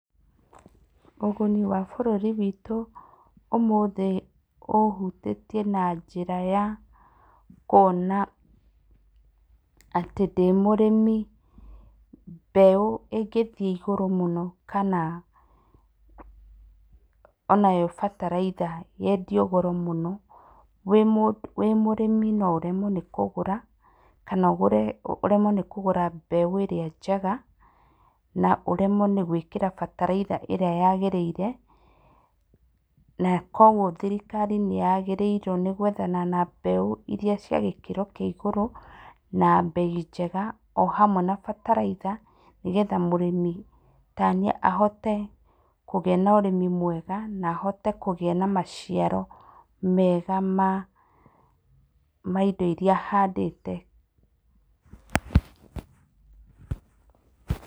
Ũguni wa bũrũri witũ ũmũthĩ ũhutĩtie na njĩra ya kwona atĩ ndĩ mũrĩmi mbeũ ĩngĩthiĩ igũrũ mũno kana, onayo bataraitha nayo yendio igũrũ mũno, wĩ mũndũ, wĩ mũrĩmi no ũremwo nĩ kũgũra na ũgũre ũremwo nĩ kũgũra mbeũ ĩrĩa njega na ũremwo nĩ gwĩkĩra bataraitha ĩrĩa yagĩrĩire, na kwoguo thirikari nĩ ya gĩrĩirwo nĩ gwethana na mbeũ iria cia gĩkĩro kĩa igũrũ na mbei njega o hamwe na bataraitha nĩgetha mũrĩmi ta niĩ ahote kũgĩa na ũrĩmi mwega nahote kũgĩa na maciaro mega ma ma indo iria handĩte.